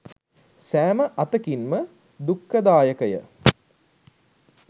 සෑම අතකින්ම දුක්ඛදායකය.